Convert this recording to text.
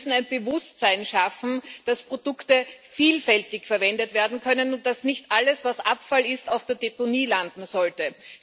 Wir müssen ein Bewusstsein schaffen, dass Produkte vielfältig verwendet werden können und dass nicht alles, was Abfall ist, auf der Deponie landen sollte.